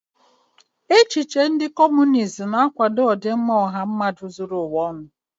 Echiche Kọmunist na-akwado ọdịmma ọha mmadụ zuru ụwa ọnụ.